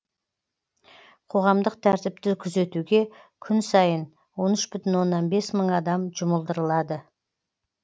қоғамдық тәртіпті күзетуге күн сайын он үш бүтін оннан бес мың адам жұмылдырылады